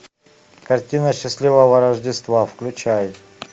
картина счастливого рождества включай